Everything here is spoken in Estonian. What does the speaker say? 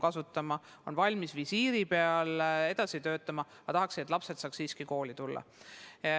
Näiteks on õpetajad valmis visiiriga töötama, aga tahaksid, et lapsed saaksid kooli tulla.